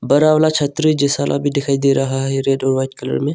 बड़ा वाला छतरी जैसा भी दिखाई दे रहा है रेड और व्हाइट कलर में।